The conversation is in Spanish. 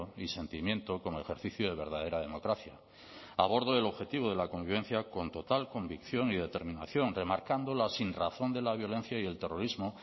y sentimiento como ejercicio de verdadera democracia abordo el objetivo de la convivencia con total convicción y determinación remarcando la sinrazón de la violencia y el terrorismo